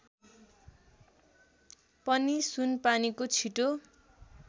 पनि सुनपानीको छिटो